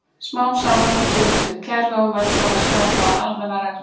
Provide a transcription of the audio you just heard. Smám saman byggðist upp kerfi og menn tóku að skapa almennar reglur.